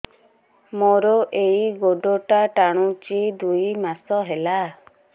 ମୋର ଏଇ ଗୋଡ଼ଟା ଟାଣୁଛି ଦୁଇ ମାସ ହେଲା